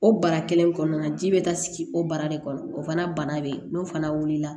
O bara kelen in kɔnɔna na ji bɛ taa sigi o bara de kɔnɔ o fana bana bɛ yen n'o fana wulila